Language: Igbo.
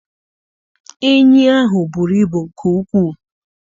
Enyi ahụ buru ibu nke ukwu.